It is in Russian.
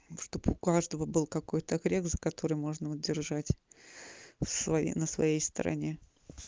чтобы у каждого был какой-то грех за который можно удержать свои на своей стороне